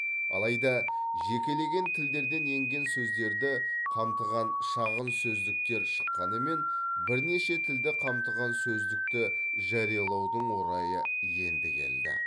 алайда жекелеген тілдерден енген сөздерді қамтыған шағын сөздіктер шыққанымен бірнеше тілді қамтыған сөздікті жариялаудың орайы енді келді